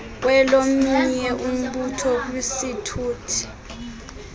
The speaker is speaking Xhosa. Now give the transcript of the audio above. kwelomnye umbutho kwisithuthi